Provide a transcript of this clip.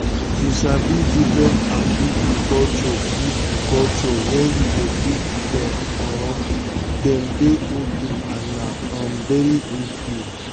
to sabi different um people culture people culture when you dey treat um them dey okay and na um very good thing.